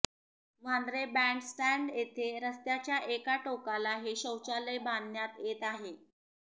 Vandre band stand येथे रस्त्याच्या एका टोकाला हे शौचालय बांधण्यात येत आहे